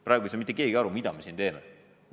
Praegu ei saa mitte keegi aru, mida me siin teeme.